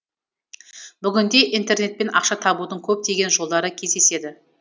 бүгінде интернетпен ақша табудың көптеген жолдары кездеседі